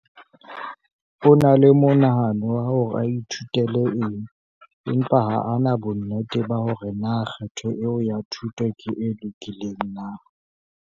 O na le monahano wa hore a ithutele eng empa ha a na bonnete ba hore na kgetho eo ya thuto ke e lokileng na.